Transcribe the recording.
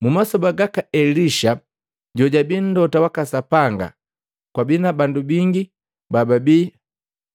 Mumasoba gaka Elisha jojabii mlota waka Sapanga kwabii na bandu bingi bababi